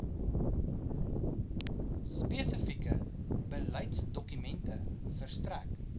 spesifieke beleidsdokumente verstrek